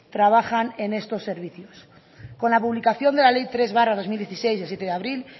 trabajan en estos servicios con la publicación de la ley tres barra dos mil dieciséis del siete de abril